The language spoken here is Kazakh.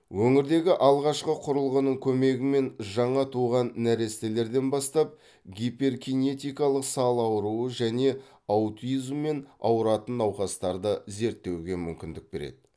өңірдегі алғашқы құрылғының көмегімен жаңа туған нәрестелерден бастап гиперкинетикалық сал ауруы және аутизммен ауыратын науқастарды зерттеуге мүмкіндік береді